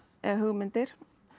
eða hugmyndir